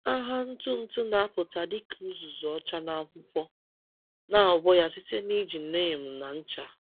Agha ntụ ntụ na-apụta dịka uzuzu ọcha n’akwụkwọ, na-agwọ ya site n’iji neem na ncha.